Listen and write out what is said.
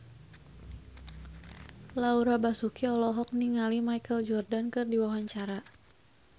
Laura Basuki olohok ningali Michael Jordan keur diwawancara